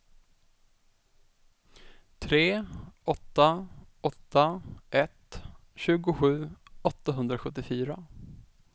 tre åtta åtta ett tjugosju åttahundrasjuttiofyra